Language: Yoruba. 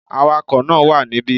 The driver is here